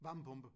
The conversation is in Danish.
Varmepumpe